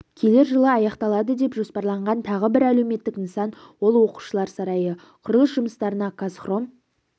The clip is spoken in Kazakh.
келер жылы аяқталады деп жоспарланған тағы бір әлеуметтік нысан ол оқушылар сарайы құрылыс жұмыстарына қазхром